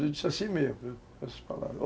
Eu disse assim mesmo, essas palavras.